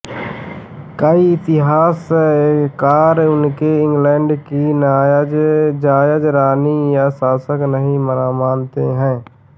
कई इतिहासकार उसे इंग्लैंड की जायज़ रानी या शासक नहीं मानते हैं